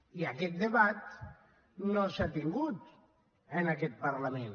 i aquest debat no s’ha tingut en aquest parlament